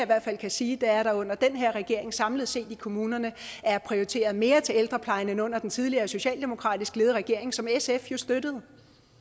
hvert fald kan sige er at der under den her regering samlet set i kommunerne er prioriteret mere til ældrepleje end under den tidligere socialdemokratisk ledede regering som sf jo støttede